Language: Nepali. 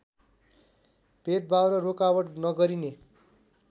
भेदभाव र रोकावट नगरिने